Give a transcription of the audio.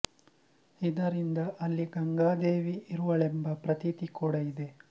ಇದರಿಂದ ಅಲ್ಲಿ ಗಂಗಾ ದೇವಿ ಇರುವಳೆಂಬ ಪ್ರತೀತಿ ಕೂಡ ಇದೆ